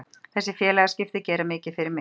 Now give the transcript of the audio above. Þessi félagaskipti gera mikið fyrir mig.